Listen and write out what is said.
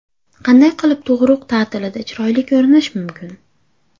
Qanday qilib tug‘uruq ta’tilida chiroyli ko‘rinish mumkin?